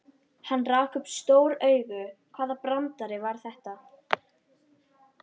Hann rak upp stór augu, hvaða brandari var þetta?